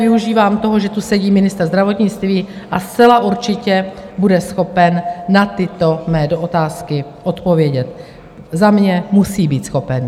Využívám toho, že tu sedí ministr zdravotnictví, a zcela určitě bude schopen na tyto mé otázky odpovědět, Za mě musí být schopen.